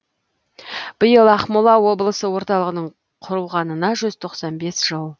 биыл ақмола облысы орталығының құрылғанына жүз тоқсан бес жыл